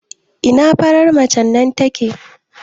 Ina farar macen nan take?